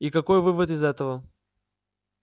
и какой вывод из этого